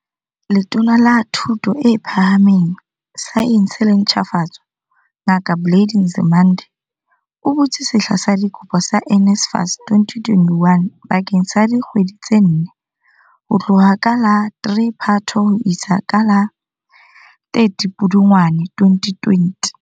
Letona la Thuto e Phaha meng, Saense le Ntjhafatso, Ngaka Blade Nzimande, o butse sehla sa dikopo sa NSFAS 2021 bakeng sa dikgwedi tse nne, ho tloha ka la 3 Phato ho isa ka la 30 Pudungwana 2020.